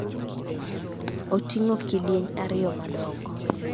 Oting�o kidieny ariyo madongo.